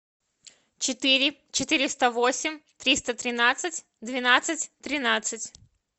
четыре четыреста восемь триста тринадцать двенадцать тринадцать